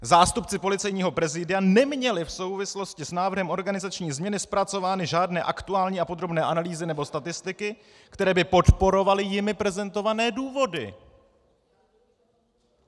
Zástupci Policejního prezidia neměli v souvislosti s návrhem organizační změny zpracovány žádné aktuální a podrobné analýzy nebo statistiky, které by podporovaly jimi prezentované důvody.